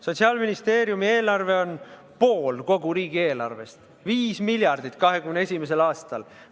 Sotsiaalministeeriumi eelarve on pool kogu riigieelarvest, 5 miljardit eurot 2021. aastal.